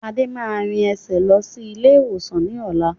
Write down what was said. Adé máa rìn ẹsẹ̀ lọ sí ilé ìwòsàn ni ọ̀la